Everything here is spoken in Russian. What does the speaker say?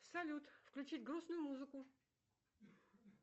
салют включить грустную музыку